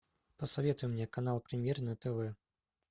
посоветуй мне канал премьер на тв